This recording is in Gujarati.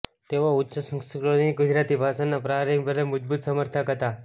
તેઓ ઉચ્ચ સંસ્કૃતિની ગુજરાતી ભાષાના પ્રારંભિક અને મજબૂત સમર્થક હતા